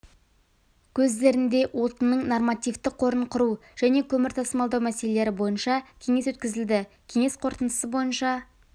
көздерінде отынның нормативті қорын құру және көмір тасымалдау мәселелері бойынша кеңес өткізілді кеңес қорытындысы бойынша